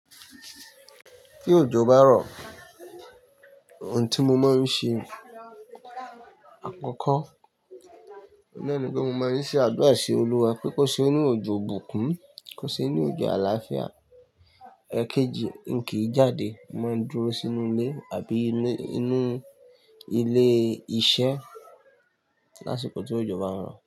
Tí òjò bá rọ, ohun tí mo máa ń ṣe àkọ́kọ́, náà ni pé mo máa ń ṣe àdúrà sí Olúwa pé kó ṣe inú òjò ibùkún, kó ṣe inú òjò àlàáfíà. Ẹ kẹ́jì, n kì í jáde, mo máa ń dúró sínú ilé àbí inú, inú ilé iṣẹ́ lásìkò tí òjò bá ń rọ.